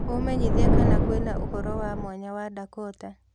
umenyĩthĩe kana kwĩna ũhoro wa mwanya wa dakota